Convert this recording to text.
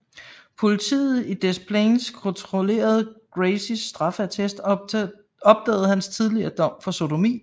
Politiet i Des Plaines kontrollerede Gacys straffeattest og opdagede hans tidligere dom for sodomi